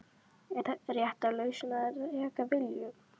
Er rétta lausnin að reka Willum?